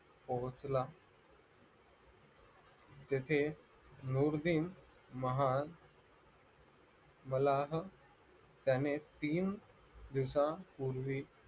पोहोचला तिथे नुरविंन महाल मला त्याने तीन दिवसापूर्वी